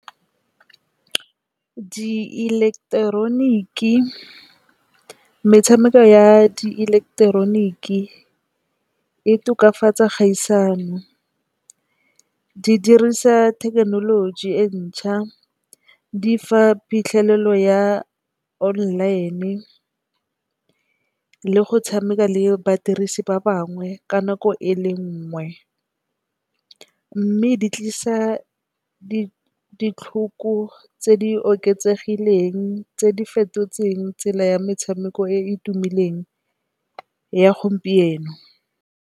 Di ileketeroniki metshameko ya di ileketeroniki e tokafatsa kgaisano di dirisa thekenoloji e ntšha, di fa phitlhelelo ya online le go tshameka le badirisi ba bangwe ka nako e le nngwe. Mme di tlisa ditlhoko tse di oketsegileng tse di fetotsweng tsela ya metshameko e e tumileng ya gompieno.